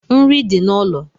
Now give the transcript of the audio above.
Nri di n’ulo